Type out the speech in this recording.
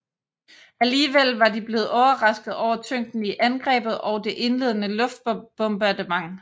Alligevel var de blevet overrasket over tyngden i angrebet og det indledende luftbombardement